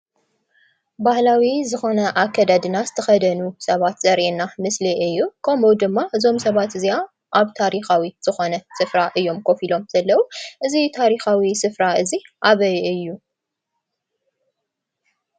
ባህላዊ ዝኮነ አከዳድና ዝተከደኑ ሰባት ዘርእየና ምስሊ እዩ:: ከምኡ ድማ እዚም ሰባት እዚአ አብ ታሪክዊ ዝኮነ ስፍራ እዮም ከፍ ኢሎም ዘለው እዚ ታሪካዊ ስፍራ እዚ አበይ እዩ?